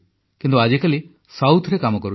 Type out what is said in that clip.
କିନ୍ତୁ ଆଜିକାଲି ଦକ୍ଷିଣରେ କାମ କରୁଛି